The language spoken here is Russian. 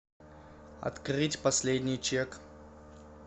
открыть последний чек